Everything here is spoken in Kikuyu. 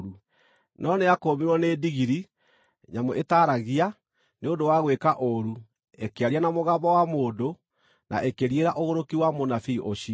No nĩakũũmirwo nĩ ndigiri, nyamũ ĩtaaragia, nĩ ũndũ wa gwĩka ũũru, ĩkĩaria na mũgambo wa mũndũ, na ĩkĩriĩra ũgũrũki wa mũnabii ũcio.